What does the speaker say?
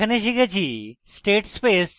in tutorial আমরা শিখেছি: